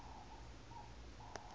be le se le ya